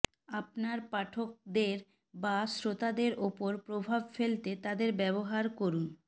আপনার পাঠকদের বা শ্রোতাদের উপর প্রভাব ফেলতে তাদের ব্যবহার করুন